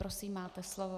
Prosím máte slovo.